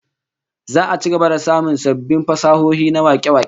Za'a ci gaba da samun sabbin fasahohi na wake-wake